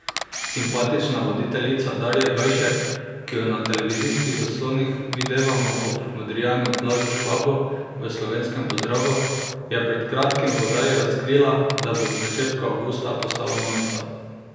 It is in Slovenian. Simpatična voditeljica Darja Gajšek, ki jo na televizijskih zaslonih videvamo ob modrijanu Blažu Švabu v Slovenskem pozdravu, je pred kratkim v oddaji razkrila, da bo v začetku avgusta postala mamica.